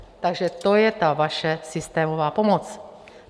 Takže to je ta vaše systémová pomoc.